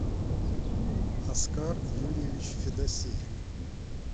оскар юрьевич федосеев